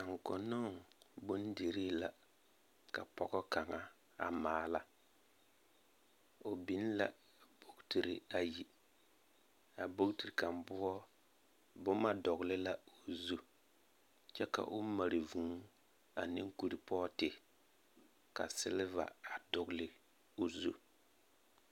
Konnoho bondirii la ak pɔge kaŋa maala. O biŋla bogitiri ayi, a bogiti kaŋa poɔ boma dɔgele la o zu kyɛ ka o mare vũũ aneŋ kuripɔɔte ka seleva a dogele o zu.